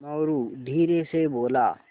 मोरू धीरे से बोला